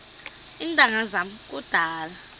iintanga zam kudala